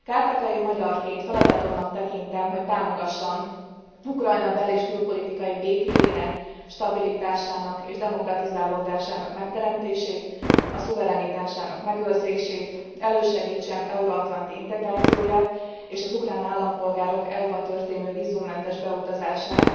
Kárpátaljai magyarként feladatomnak tekintem, hogy támogassam Ukrajna bel és külpolitikai békéjének, stabilitásának és demokratizálódásának megteremtését, a szuverenitásának megőrzését, elősegítsem euro atlanti integrációját és az ukrán állampolgárok EU ba történő vízummentes beutazását.